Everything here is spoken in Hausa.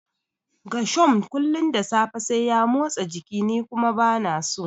Gershom kullum da safe sai ya motsa jiki ni kuma bana so.